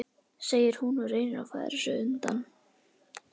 segir hún og reynir að færa sig undan.